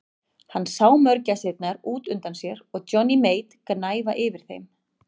Hann sá mörgæsirnar út undan sér og Johnny Mate gnæfa yfir þeim.